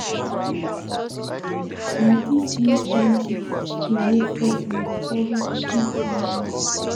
Na dese new policies dey make pesin dey struggle to feed family.